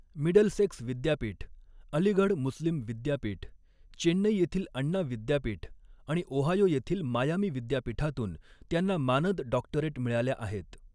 Middlesex विद्यापीठ, अलीगढ मुस्लीम विद्यापीठ, चेन्नई येथील अण्णा विद्यापीठ आणि ओहायो येथील मायामी विद्यापीठातून त्यांना मानद डॉक्टरेट मिळाल्या आहेत.